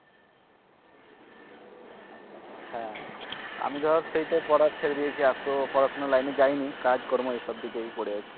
আমি ধর সেই তো পড়া ছেড়ে দেয়েছি আর তো পড়াশুনা line এ যাইনি কাজকর্ম এসব দিকেই পরে আছি।